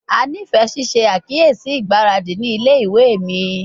A nifẹ ṣiṣe akiyesi igbaradi ni ile-iwe mi